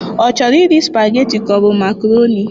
Ọ chọrọ iri spaghetti ka ọ bu makaroni?